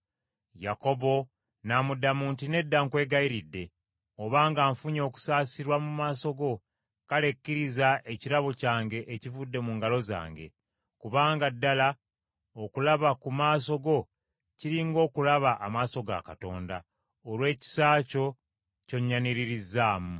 Yakobo n’amuddamu nti, “Nedda nkwegayiridde, obanga nfunye okusaasirwa mu maaso go, kale kkiriza ekirabo kyange ekivudde mu ngalo zange. Kubanga ddala okulaba ku maaso go kiri ng’okulaba amaaso ga Katonda, olw’ekisa ekyo ky’onnyaniririzzaamu.